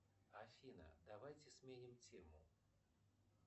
афина давайте сменим тему